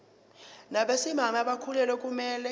nabesimame abakhulelwe akumele